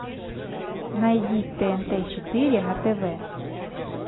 найди тнт четыре на тв